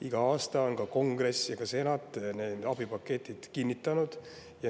Iga aasta on kongress ja ka senat need abipaketid kinnitanud.